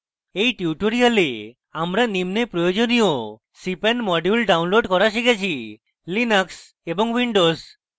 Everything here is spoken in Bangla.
in tutorial আমরা নিম্নে প্রয়োজনীয় cpan modules download করা শিখেছি